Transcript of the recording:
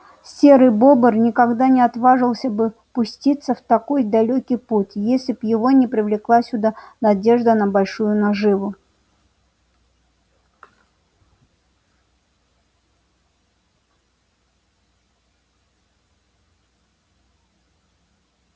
серый бобр никогда не отважился бы пуститься в такой далёкий путь если б его не привлекла сюда надежда на большую наживу